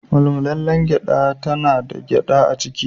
Mullmulalen gyada tana da gyada a ciki.